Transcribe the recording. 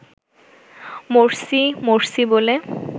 'Morsi' 'Morsi' বলে